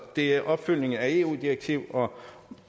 det er opfyldning af et eu direktiv og